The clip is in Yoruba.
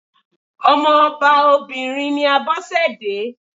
Ọmọ ọba obìnrin ni Abọ́sẹ̀dé.